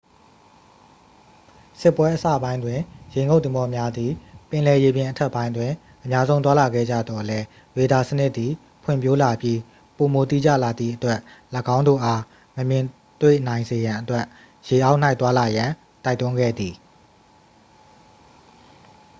စစ်ပွဲအစပိုင်းတွင် ရေငုပ်သင်္ဘောများသည် ပင်လယ်ရေပြင်အထက်ပိုင်းတွင် အများဆုံး သွားလာခဲ့ကြသော်လည်း ရေဒါစနစ်သည် ဖွံ့ဖြိုးလာပြီး ပိုမိုတိကျလာသည့်အတွက် ၎င်းတို့အား မမြင်တွေ့နိုင်စေရန်အတွက် ရေအောက်၌ သွားလာရန် တိုက်တွန်းခဲ့သည်